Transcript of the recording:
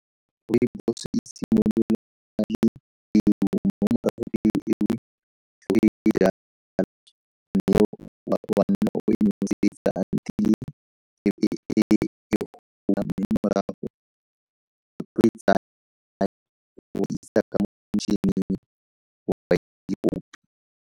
Rooibos e simolola mme o a nna o e noseta until-e .